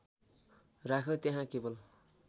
राख्यो त्यहाँ केवल